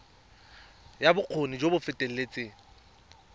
ya bokgoni jo bo feteletseng